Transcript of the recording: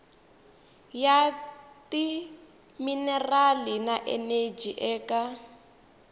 ya timinerali na eneji eka